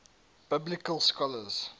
biblical scholars